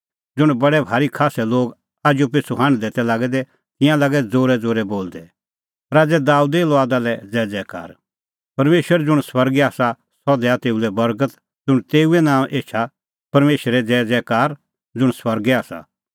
ज़ुंण बडै भारी खास्सै लोग आजूपिछ़ू हांढदै तै लागै दै तिंयां लागै ज़ोरैज़ोरै बोलदै दै राज़ै दाबेदे लुआदा ज़ैज़ैकार परमेशर ज़ुंण स्वर्गै आसा सह दैआ तेऊ लै बर्गत ज़ुंण तेऊए नांओंऐं एछा परमेशरे ज़ैज़ैकार ज़ुंण स्वर्गै आसा